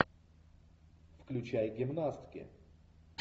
включай гимнастки